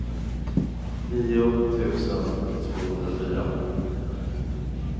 nio tusen tvåhundrafyra